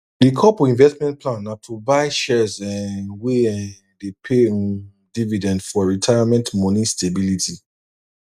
di couple investment plan na to buy shares um wey um dey pay um dividend for retirement money stability